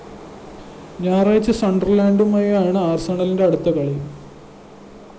ഞായറാഴ്ച സണ്ടര്‍ലാന്‍ഡുമായാണ് ആഴ്‌സണലിന്റെ അടുത്ത കളി